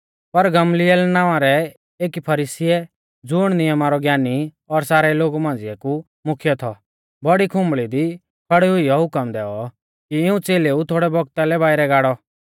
पर गमलीएल नावां रै एकी फरीसीऐ ज़ुण नियमा रौ ज्ञानी और सारै लोगु मांझ़िया कु मुख्यै थौ बौड़ी आराधनालय दी खौड़ी हुईऔ हुकम दैऔ कि इऊं च़ेलेऊ थोड़ै बौगता लै बाइरै गाड़ौ